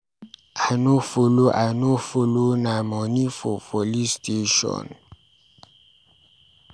I no follow, I no follow na moni for police station.